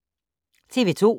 TV 2